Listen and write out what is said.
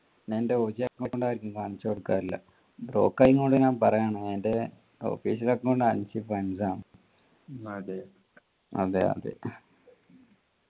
ഞാൻ എൻ്റെ original account ആരിക്കും കാണിച്ചു കൊടുക്കാറില്ല ബ്രോക്ക് ആയ കൊണ്ട് ഞാൻ പറയാന് എൻ്റെ official account അൻസിഫ് അൻസാം അതെ അതെ അതെ